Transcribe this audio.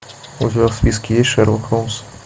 у тебя в списке есть шерлок холмс